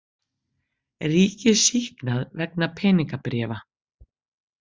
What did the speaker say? Ríkið sýknað vegna peningabréfa